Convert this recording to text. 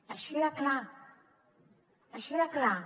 així de clar així de clar